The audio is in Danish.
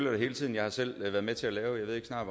jeg har selv været med til at lave jeg ved snart